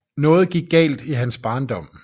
Noget gik galt i hans barndom